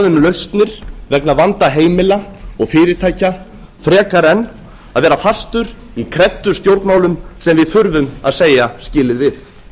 um lausnir vegna vanda heimila og fyrirtækja frekar en að vera fastur í kreddustjórnmálum sem við þurfum að segja skilið við